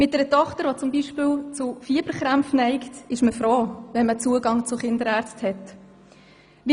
Beispielsweise mit einer Tochter, die zu Fieberkrampf neigt, ist man über einen Zugang zu Kinderärzten froh.